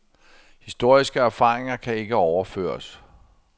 Historiske erfaringer kan ikke overføres.